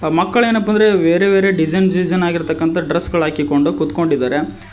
ಮಕ್ಕಳ ಏನಪ್ಪಾ ಅಂದ್ರೆ ಬೇರೆ ಬೇರೆ ಡಿಸೈನ್ ಡಿಸೈನ್ ಆಗಿರ್ತಕ್ಕಂತ ಡ್ರೆಸ್ ಗಳ ಹಾಕಿಕೊಂಡು ಕೂತ್ಕೊಂಡಿದರೆ.